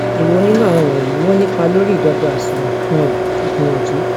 èwo nínu àwọn wọnyí ni ó nípa lóri ìdọgba àsunwon um ìgbìyànjú